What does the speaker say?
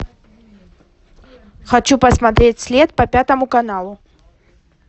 хочу посмотреть след по пятому каналу